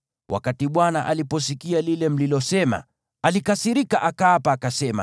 Wakati Bwana aliposikia lile mlilosema, alikasirika, akaapa, akasema: